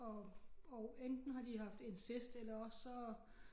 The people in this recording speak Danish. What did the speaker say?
Og og enten har de haft incest eller også så